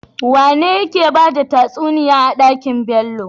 Wane yake bada tatsuniya a dakin Bello?